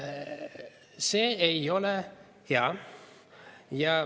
See ei ole hea.